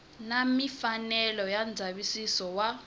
na mfanelo ya ndzavisiso wa